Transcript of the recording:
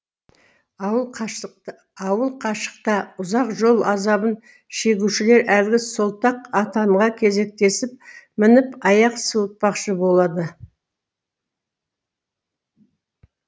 ауыл қашықта ұзақ жол азабын шегушілер әлгі солтақ атанға кезектесіп мініп аяқ суытпақшы болады